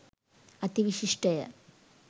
අති විශිෂ්ටය.